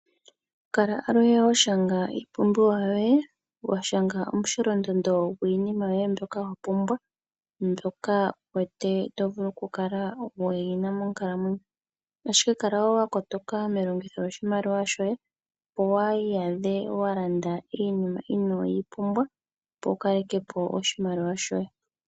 Kala aluhe wa shanga iipumbiwa yoye, wa shanga omusholondondo gwiinima yoye mbyoka wa pumbwa, mbyoka wu wete to vulu oku kala wu yina monkalamwenyo. Ashike kala wo wa kotoka melongitho lyoshimaliwa shoye opo waa iyadhe wa landa iinima inoo yi pumbwa, opo wu kaleke po oshimaliwa shoye.